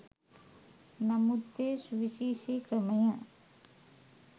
නමුත් ඒ සුවිශේෂී ක්‍රමය